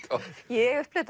ég upplifði